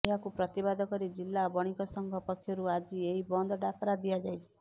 ଏହାକୁ ପ୍ରତିବାଦ କରି ଜିଲା ବଣିକ ସଂଘ ପକ୍ଷରୁ ଆଜି ଏହି ବନ୍ଦ ଡାକରା ଦିଆଯାଇଛି